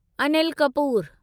Anil Kapoor